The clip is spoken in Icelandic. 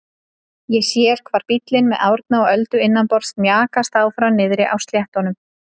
Ég sé hvar bíllinn með Árna og Öldu innanborðs mjakast áfram niðri á sléttunum.